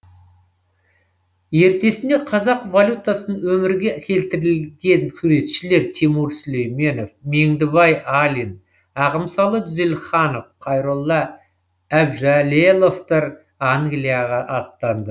ертесіне қазақ валютасын өмірге келтірілген суретшілер тимур сүлейменов меңдібай алин ағымсалы дүзелханов қайролла әбжәлеловтар англияға аттанды